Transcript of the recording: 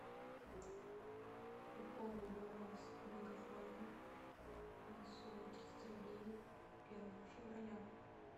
пополни баланс мегафона на сумму триста рублей первого февраля